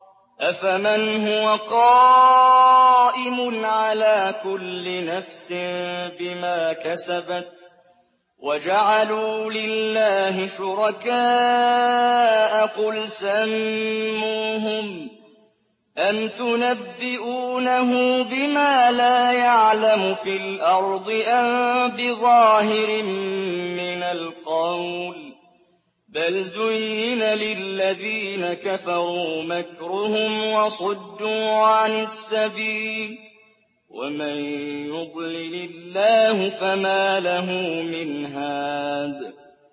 أَفَمَنْ هُوَ قَائِمٌ عَلَىٰ كُلِّ نَفْسٍ بِمَا كَسَبَتْ ۗ وَجَعَلُوا لِلَّهِ شُرَكَاءَ قُلْ سَمُّوهُمْ ۚ أَمْ تُنَبِّئُونَهُ بِمَا لَا يَعْلَمُ فِي الْأَرْضِ أَم بِظَاهِرٍ مِّنَ الْقَوْلِ ۗ بَلْ زُيِّنَ لِلَّذِينَ كَفَرُوا مَكْرُهُمْ وَصُدُّوا عَنِ السَّبِيلِ ۗ وَمَن يُضْلِلِ اللَّهُ فَمَا لَهُ مِنْ هَادٍ